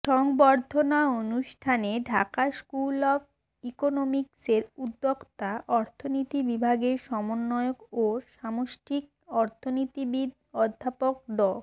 সংবর্ধনা অনুষ্ঠানে Dhaka school of ইকোনমিক্সের উদ্যোক্তা অর্থনীতি বিভাগের সমন্বয়ক ও সামষ্টিক অর্থনীতিবিদ অধ্যাপক ড